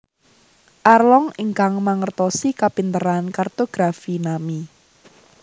Arlong ingkang mangertosi kapinteran kartografi Nami